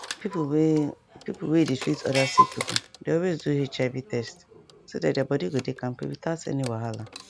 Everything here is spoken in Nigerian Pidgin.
people wey people wey dey treat other sick people dey always do hiv test so that their body go dey kampe without any wahala